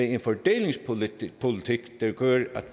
en fordelingspolitik der gør at